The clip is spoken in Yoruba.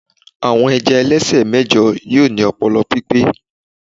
àwọn ẹja ẹlẹsẹ mẹjọ yíò ni ọpọlọ pipẹ